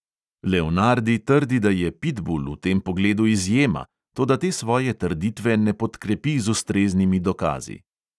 Leonardi trdi, da je pitbul v tem pogledu izjema, toda te svoje trditve ne podkrepi z ustreznimi dokazi.